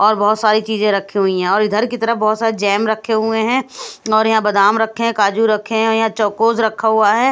और बहोत सारी चीजे रखी हुई है और इधर की तरफ बहोत सारे जैम रखे हुए हैं और यहां बदाम रखे हैं काजू रखें हैं यहां चौकोज रखा हुआ है।